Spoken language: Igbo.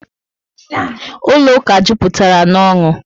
Ụlọ ụka juputara na n'onu